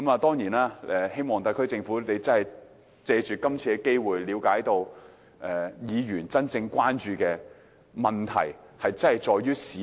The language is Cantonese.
當然，我希望特區政府可以藉此機會了解議員真正關注的問題其實在於市民。